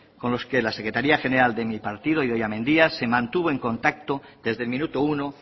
con los que la secretaría general de mi partido idoia mendia se mantuvo en contacto desde el minuto uno